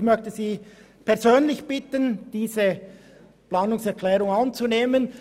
Ich möchte Sie persönlich bitten, diese Planungserklärung anzunehmen.